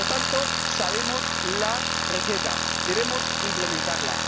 Por lo tanto, sabemos la receta, debemos implementarla.